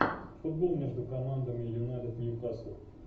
футбол между командами юнайтед ньюкасл